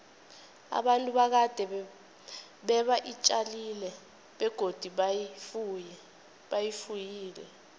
abantu bakade beba tjalile begodu bafuyile